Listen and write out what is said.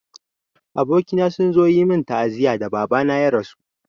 Abokaina sun zo yi min ta'aziyya da Baba na ya rasu.